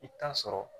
I bɛ taa sɔrɔ